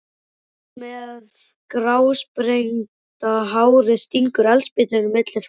Konan með grásprengda hárið stingur eldspýtu milli framtannanna.